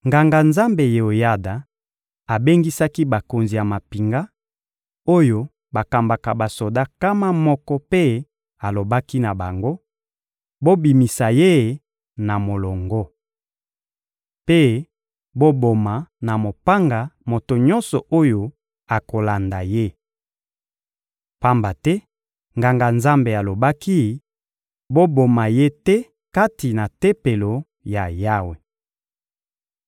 Nganga-Nzambe Yeoyada abengisaki bakonzi ya mampinga, oyo bakambaka basoda nkama moko mpe alobaki na bango: — Bobimisa ye na molongo! Mpe boboma na mopanga moto nyonso oyo akolanda ye! Pamba te Nganga-Nzambe alobaki: «Boboma ye te kati na Tempelo ya Yawe!»